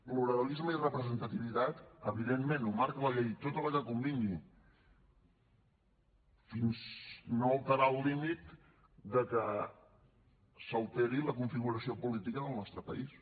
pluralisme i representativitat evidentment ho marca la llei tota la que convingui fins no alterar el límit de que s’alteri la configuració política del nostre país